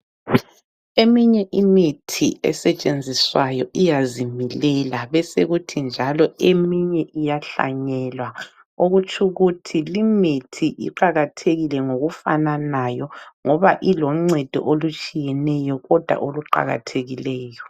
Eminye imithi esetshenziswayo iyazimilela besekuthi njalo eminye iyahlanyelwa. Okutshukuthi limithi iqakathekile ngokufananayo ngoba iloncedo olutshiyeneyo kodwa oluqakathekileyo.